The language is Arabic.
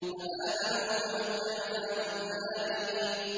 فَآمَنُوا فَمَتَّعْنَاهُمْ إِلَىٰ حِينٍ